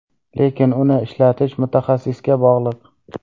Lekin uni ishlatish mutaxassisga bog‘liq.